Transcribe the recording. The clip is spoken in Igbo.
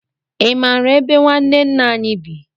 Ị mara ebe ñwanne nna anyị bị?